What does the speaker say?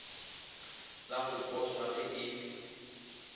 la go poswa ge e